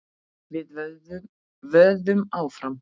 Við vöðum áfram.